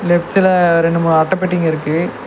Left சைட்ல ரெண்டு மூணு அட்ட பெட்டிங்க இருக்கு.